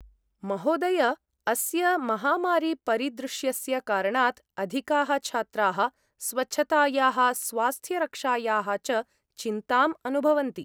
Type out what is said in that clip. महोदय! अस्य महामारीपरिदृश्यस्य कारणात् अधिकाः छात्राः स्वच्छतायाः स्वास्थ्यरक्षायाः च चिन्ताम् अनुभवन्ति।